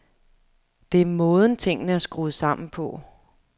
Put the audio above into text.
Det er måden, tingene er skruet sammen på.